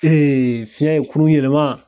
Ee fiɲɛ ye kurun yelema